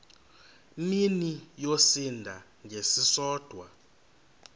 mini yosinda ngesisodwa